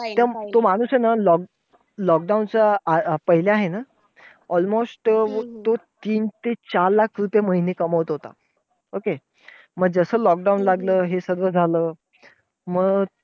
त तो माणूस हे ना lock lockdown च्या पहिले आहे ना almost अं तो तीन ते चार लाख रुपये महिने कमवत होता. okay मग जसं lockdown लागलं हे सगळं झालं. मग